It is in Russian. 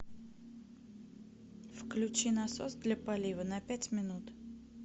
включи насос для полива на пять минут